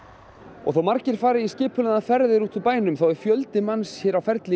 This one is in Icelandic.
og þó margir fari í skipulagðar ferðir út úr bænum þá er fjöldi manns á ferli